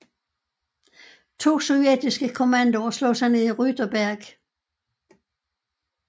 To sovjetiske kommandoer slog sig ned Rüterberg